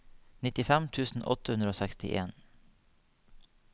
nittifem tusen åtte hundre og sekstien